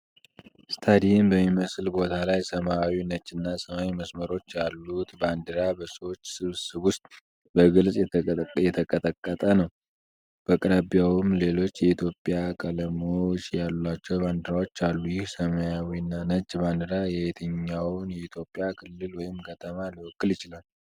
ስታዲየም በሚመስል ቦታ ላይ ሰማያዊ፣ ነጭና ሰማያዊ መስመሮች ያሉት ባንዲራ በሰዎች ስብስብ ውስጥ በግልጽ እየተንቀጠቀጠ ነው። በአቅራቢያውም ሌሎች የኢትዮጵያ ቀለሞች ያሏቸው ባንዲራዎች አሉ። ይህ ሰማያዊ እና ነጭ ባንዲራ የየትኛውን የኢትዮጵያ ክልል ወይም ከተማ ሊወክል ይችላል?